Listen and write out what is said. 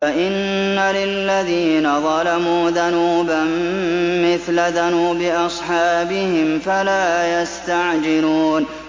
فَإِنَّ لِلَّذِينَ ظَلَمُوا ذَنُوبًا مِّثْلَ ذَنُوبِ أَصْحَابِهِمْ فَلَا يَسْتَعْجِلُونِ